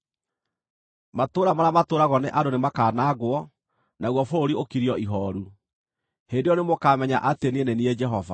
Matũũra marĩa matũũragwo nĩ andũ nĩmakanangwo, naguo bũrũri ũkirio ihooru. Hĩndĩ ĩyo nĩmũkamenya atĩ niĩ nĩ niĩ Jehova.’ ”